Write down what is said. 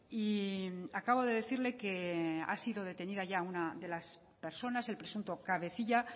y acabo de decirle que ha sido detenida ya una de las personas el presunto cabecilla